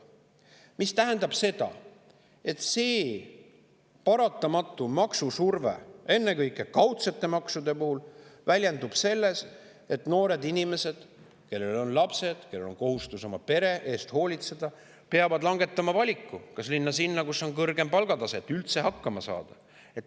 See tähendab, et see paratamatu maksusurve, ennekõike kaudsete maksude puhul, väljendub selles, et noored inimesed, kellel on lapsed ja kohustus oma pere eest hoolitseda, peavad langetama valiku, kas minna sinna, kus on kõrgem palgatase, et üldse hakkama saada.